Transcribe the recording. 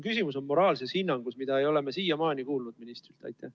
Küsimus on moraalses hinnangus, mida me ei ole siiamaani ministrilt kuulnud.